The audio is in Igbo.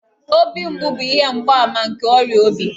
Obi mgbu bụ ihe mgbaàmà nke ọrịa obi